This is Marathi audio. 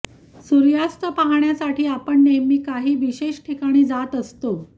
सूर्यास्त पाहण्यासाठी आपण नेहमी काही विशेष ठिकाणी जात असतो